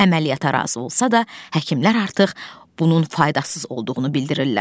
Əməliyyata razı olsa da, həkimlər artıq bunun faydasız olduğunu bildirirlər.